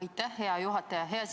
Aitäh, hea juhataja!